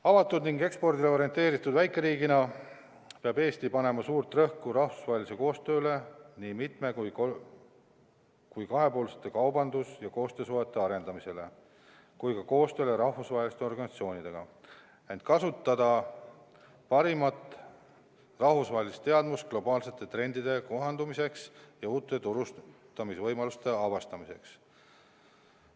Avatud ning ekspordile orienteeritud väikeriigina peab Eesti panema suurt rõhku rahvusvahelisele koostööle, nii mitme- kui kahepoolsete kaubandus- ja koostöösuhete arendamisele kui ka koostööle rahvusvaheliste organisatsioonidega, et kasutada parimat rahvusvahelist teadmust globaalsete trendidega kohandumiseks ja uute turustamisvõimaluste avastamiseks.